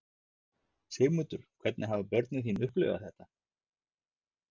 Sigmundur: Hvernig hafa börnin þín upplifað þetta?